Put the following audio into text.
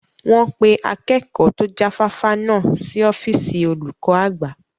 Wọn pé Akẹ́kọ̀ to jáfáfá náà sì ọ́fíìsì olùkọ́ àgbà